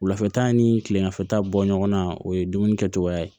Wulafɛta ni kilelafɛ ta bɔ ɲɔgɔn na o ye dumuni kɛcogoya ye